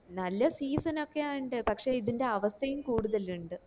നല്ല season ഒക്കെയ ഇണ്ട് പക്ഷെ ഇതിന്റെ അവസ്ഥയും കൂടുതൽ ഇണ്ട്